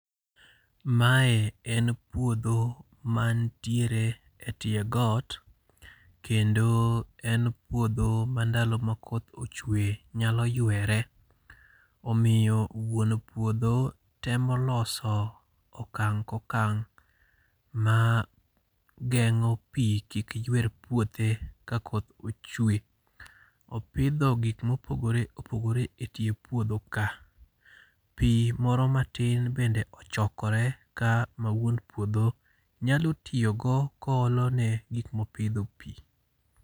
Mae en puodho mantiere e tie got. Kendo en puodho ma ndalo ma koth ochwe nyalo ywere, omiyo wuon puodho temo loso okang' ka okang' mageng'o pi kik ywer puothe ka koth ochwe. Opidho gik ma opogore opogore e tie puodho ka. Pi moro matin bende ochokore ka ma wuon puodho nyalo tiyo go koolo ne gik ma opidho pi.